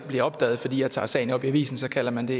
bliver opdaget fordi jeg tager sagen op i avisen kalder man